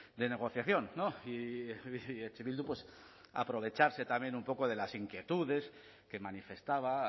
de negociación y eh bildu pues aprovecharse también un poco de las inquietudes que manifestaba